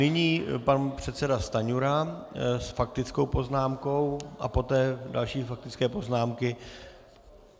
Nyní pan předseda Stanjura s faktickou poznámkou a poté další faktické poznámky.